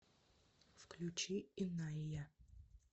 включи иная